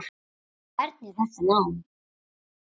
Hvernig er þetta nám?